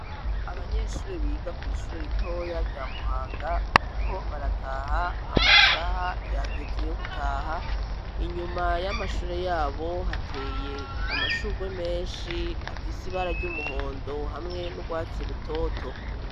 banyeshure biga kw' ishure ritoya rya Muhanga, bariko barataha amasaha yageze yo gutaha. Inyuma y'amashure yabo hateye amashurwe menshi afise ibara ry'umuhondo hamwe n'urwatsi rutoto.